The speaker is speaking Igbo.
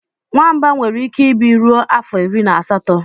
Nwamba nwere ike ịbi ruo afọ iri na asatọ.